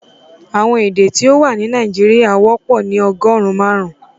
Awọn èdè tí o wà ní Nàìjíríà wọ́pọ̀ ni ọgọ́run màrùn